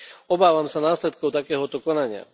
Obávam sa následkov takéhoto konania.